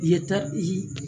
Yeta